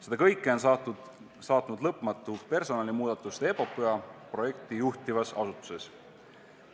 Seda kõike on saatnud lõpmatu personalimuudatuste epopöa projekti juhtivas asutuses.